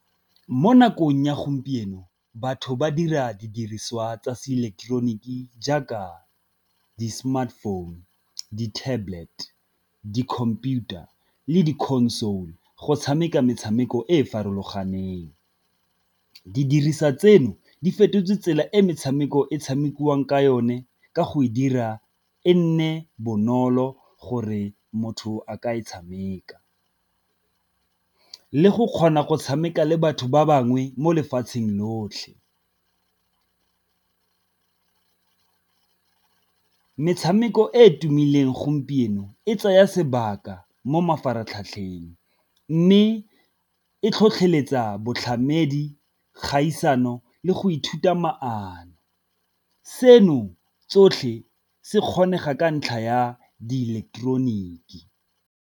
Mo nakong ya gompieno batho ba dira didiriswa tsa se eleketeroniki jaaka di-smartphone, di-tablet, di-computer le di-console go tshameka metshameko e e farologaneng. Di dirisa tseno di fetotse tsela e metshameko e tshamekiwang ka yone ka go e dira e nne bonolo gore motho a ka e tshameka, le go kgona go tshameka le batho ba bangwe mo lefatsheng lotlhe. Metshameko e e tumileng gompieno e tsaya sebaka mo mafaratlhatlheng ntlheng mme e tlhotlheletsa boitlhamedi, kgaisano le go ithuta maano. Seno tsotlhe se kgone ga ka ntlha ya diileketeroniki.